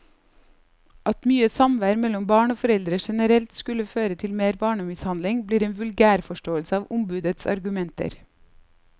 At mye samvær mellom barn og foreldre generelt skulle føre til mer barnemishandling, blir en vulgærforståelse av ombudets argumenter.